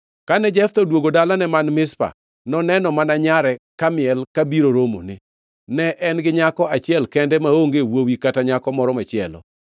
Kane Jeftha odwogo dalane man Mizpa, noneno mana nyare kamiel kabiro romone! Ne en gi nyako achiel kende maonge wuowi kata nyako moro machielo.